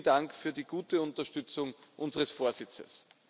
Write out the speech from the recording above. Vielen Dank für die gute Unterstützung unseres Vorsitzes.